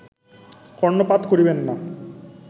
কর্ণপাত করিবেন না